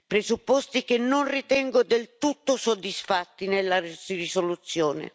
presupposti che non ritengo del tutto soddisfatti nella risoluzione.